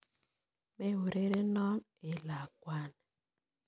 Meurereno eeh lakwani.